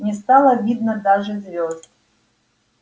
не стало видно даже звёзд